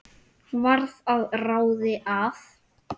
Varð að ráði að